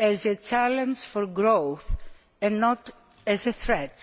as a challenge for growth and not as a threat.